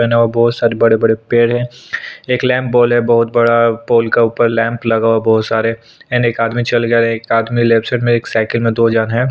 पहना हुआ है बहुत सारे बड़े-बड़े पेड़ है एक लेम्प बॉल बहुत बड़ा पोल के ऊपर लैंप लगा हुआ है बहुत सारे एंड एक आदमी चल गया और एक आदमी लेफ्ट साइड में एक साइकिल में दो झन है।